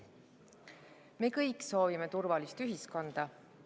Me kõik soovime turvalist ühiskonda.